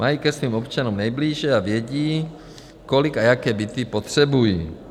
Mají ke svým občanům nejblíže a vědí, kolik a jaké byty potřebují.